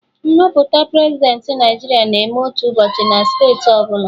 Nhọpụta Prezidentị Naijiria na-eme otu ụbọchị na steeti ọbụla